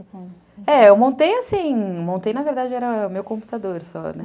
É, eu montei assim... Montei, na verdade, era o meu computador só, né?